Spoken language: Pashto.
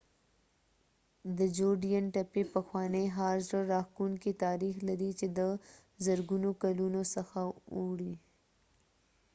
د جوډین تپې پخوانی ښار زړه راښکونکی تاریخ لري چې د زرګونو کلونو څخه اوړي